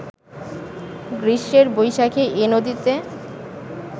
গ্রীষ্মের বৈশাখেই এ নদীতে